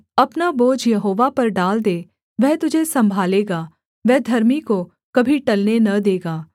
अपना बोझ यहोवा पर डाल दे वह तुझे सम्भालेगा वह धर्मी को कभी टलने न देगा